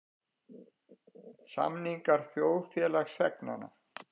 Samningar þjóðfélagsþegnanna.